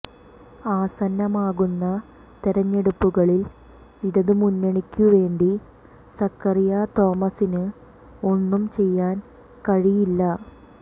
ആസന്നമാകുന്ന തെരഞ്ഞെടുപ്പുകളിൽ ഇടതുമുന്നണിക്കു വേണ്ടി സ്കറിയാ തോമസിന് ഒന്നും ചെയ്യാൻ കഴിയില്ല